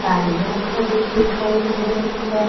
गाड़ियां खड़ी दिखाई दे रही है।